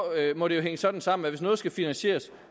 må det jo hænge sådan sammen at hvis noget skal finansieres